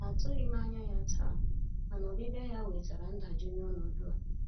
Atụghị m anya ya taa, mana ọbịbịa ya wetara ndajụ nye ọnọdụ a.